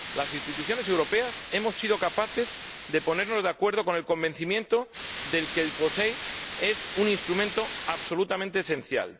Las instituciones europeas hemos sido capaces de ponernos de acuerdo, con el convencimiento de que el POSEI es un instrumento absolutamente esencial.